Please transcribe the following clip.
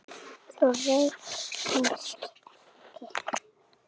Þú reykir kannski ekki?